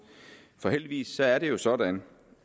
heldigvis er det sådan